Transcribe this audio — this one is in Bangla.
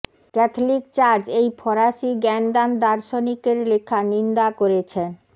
ক্যাথলিক চার্চ এই ফরাসি জ্ঞানদান দার্শনিক এর লেখা নিন্দা করেছেন